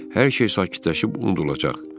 hər şey sakitləşib unudulacaq.